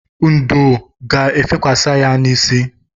Ndò ga-efekwasi ya n'isi.